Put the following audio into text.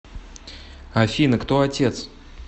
афина кто отец